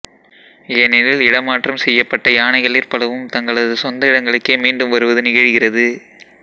ஏனெனில் இடமாற்றம் செய்யப்பட்ட யானைகளிற் பலவும் தங்களது சொந்த இடங்களுக்கே மீண்டும் வருவது நிகழ்கிறது